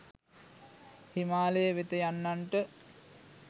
හිමාලය වෙත යන්නන්ට